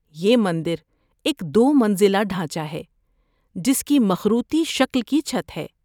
‏یہ مندر ایک دو منزلہ ڈھانچہ ہے جس کی مخروطی شکل کی چھت ہے